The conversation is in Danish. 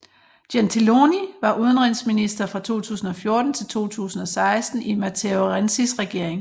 Gentiloni var udenrigsminister fra 2014 til 2016 i Matteo Renzis regering